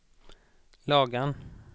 Lagan